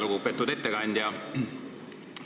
Väga lugupeetud ettekandja!